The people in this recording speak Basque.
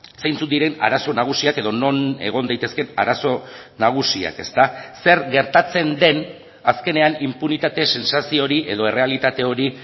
zeintzuk diren arazo nagusiak edo non egon daitezkeen arazo nagusiak zer gertatzen den azkenean inpunitate sentsazio hori edo errealitate hori